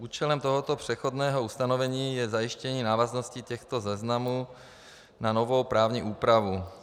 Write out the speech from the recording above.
Účelem tohoto přechodného ustanovení je zajištění návaznosti těchto záznamů na novou právní úpravu.